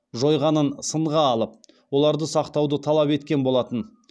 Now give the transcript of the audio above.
жойғанын сынға алып оларды сақтауды талап еткен болатын